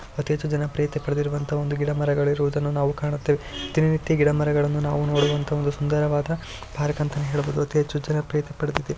ಅತಿ ಹೆಚ್ಚು ಜನಪ್ರಿಯತೆ ಪಡೆದಿರುವಂತಹ ಒಂದು ಗಿಡಮರಗಳಿರುವುದನ್ನು ನಾವು ಕಾಣುತ್ತೇವೆ ದಿನನಿತ್ಯ ಗಿಡಮರಗಳನ್ನು ನಾವು ನೋಡುವಂತಹ ಒಂದು ಸುಂದರವಾದ ಪಾರ್ಕ್ ಅಂತ ಹೇಳಬಹುದು ಅತಿ ಹೆಚ್ಚು ಜನಪ್ರಿಯತೆ ಪಡೆದಿದೆ.